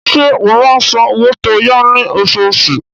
Ṣé ó máa ń san owó tó yá ní oṣooṣù?